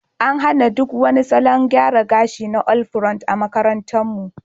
An hana duk wani salon gyara gashi na all pront a makarantarmu.